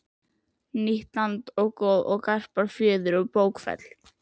Nýtt land Goð og garpar Fjöður og bókfell